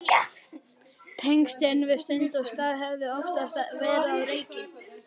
Tengslin við stund og stað höfðu oftast verið á reiki.